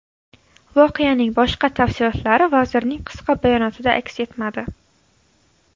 Voqeaning boshqa tafsilotlari vazirning qisqa bayonotida aks etmadi.